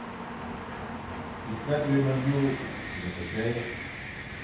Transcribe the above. искатели могил закачай